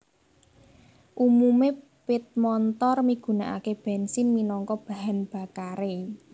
Umume pit montor migunakake bensin minangka bahan bakare